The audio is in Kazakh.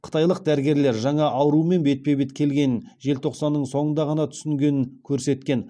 қытайлық дәрігерлер жаңа аурумен бетпе бет келгенін желтоқсанның соңында ғана түсінгенін көрсеткен